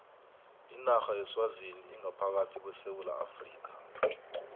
inarha yeswazini ingaphakathi kwesewula afrika